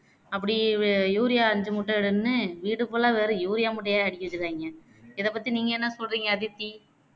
அப்படி urea ஐந்து மூட்டை எடுன்னு வீடு full ஆ வெறும் urea மூட்டையா அடுக்கி வச்சுருக்காங்க இதை பத்தி நீங்க என்ன சொல்றிங்க அதித்தி